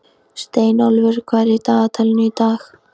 Steinólfur, hvað er í dagatalinu í dag?